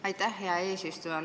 Aitäh, hea eesistuja!